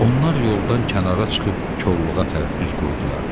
Onlar yoldan kənara çıxıb kolluğa tərəf üz qoydular.